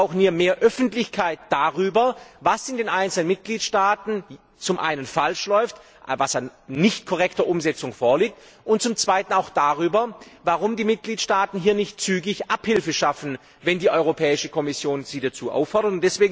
Wir brauchen mehr Öffentlichkeit darüber, was in den einzelnen Mitgliedstaaten zum einen falsch läuft, was an nicht korrekter Umsetzung vorliegt, und zum anderen auch darüber, warum die Mitgliedstaaten nicht zügig Abhilfe schaffen, wenn die Europäische Kommission sie dazu auffordert.